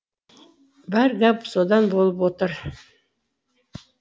бар гәп содан болып отыр